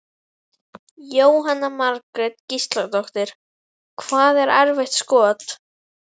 Jóhanna Margrét Gísladóttir: Hvað er erfitt skot?